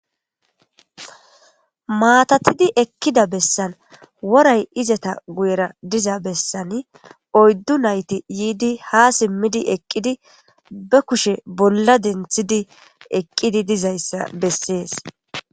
maatatidi ekkida bessan woray izata guyera diza bessan oyddu nayti yiidi ha simmidi eqqidi ba kushe bolla denthidi eqqidi dizayssa bessees